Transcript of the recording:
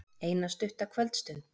Eina stutta kvöldstund.